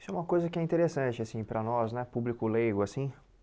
Isso é uma coisa que é interessante assim para nós né, público leigo assim.